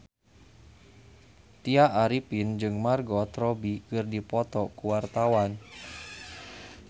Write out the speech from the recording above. Tya Arifin jeung Margot Robbie keur dipoto ku wartawan